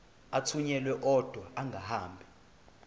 athunyelwa odwa angahambi